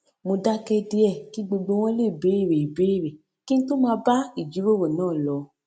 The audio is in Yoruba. mo dáké díè kí gbogbo wọn lè béèrè ìbéèrè kí n tó máa bá ìjíròrò náà lọ